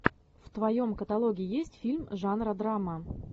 в твоем каталоге есть фильм жанра драма